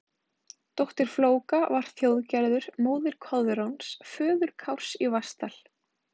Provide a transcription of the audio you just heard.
Dóttir Flóka var Þjóðgerður, móðir Koðráns, föður Kárs í Vatnsdal.